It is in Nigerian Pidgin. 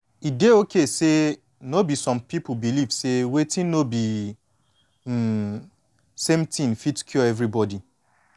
e dey okay say no be some people believe say wetin no be um same thin fit cure everybody